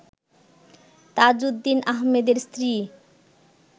তাজউদ্দিন আহমেদের স্ত্রী